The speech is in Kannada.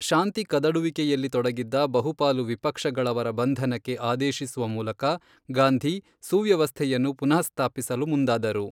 ಶಾಂತಿ ಕದಡುವಿಕೆಯಲ್ಲಿ ತೊಡಗಿದ್ದ ಬಹುಪಾಲು ವಿಪಕ್ಷಗಳವರ ಬಂಧನಕ್ಕೆ ಆದೇಶಿಸುವ ಮೂಲಕ ಗಾಂಧಿ ಸುವ್ಯವಸ್ಥೆಯನ್ನು ಪುನಃಸ್ಥಾಪಿಸಲು ಮುಂದಾದರು.